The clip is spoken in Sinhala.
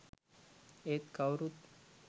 ඒත් කවුරුත්